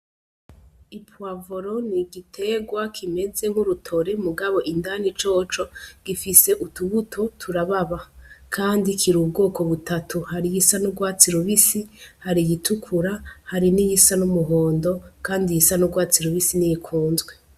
Ipwavoro n’igitegwa k’imeze nk'urutore mugabo indani coco gifise utubuto turababa, kandi kiri ubwoko butatu hari iyisa n'urwatsi rubisi hari iyitukura hari n'iyisa n'umuhondo, kandi iyisa n'urwatsi rubisi n'iyikunzwe.